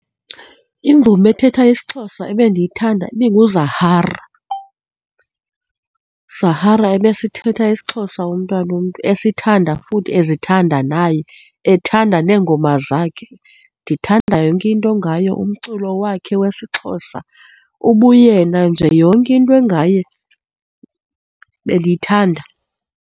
Imvumi ethetha isiXhosa ebendiyithanda ibinguZahara, uZahara ebesithetha isiXhosa umntwana womntu, esithanda futhi ezithanda naye, ethanda neengoma zakhe. Ndithanda yonke into ngaye, umculo wakhe wesiXhosa, ubuyena nje yonke into engaye bendiyithanda.